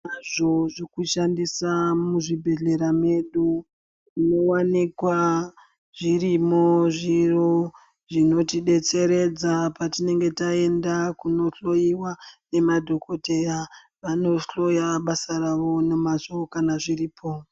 Tinazvo zvekushandisa muzvibhedhlera medu. Munowanikwa zvirimwo zviro zvinotidetseredza patinenge taenda kundohloiwa ngemadhokodheya. Vanohloya basa ravo nemazvo kana zviripo.